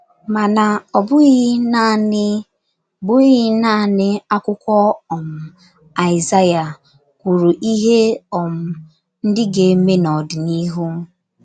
Mana,, ọ bụghị naanị bụghị naanị akwụkwọ um Aịzaya kwuru ihe um ndị ga - eme n’ọdịnihu.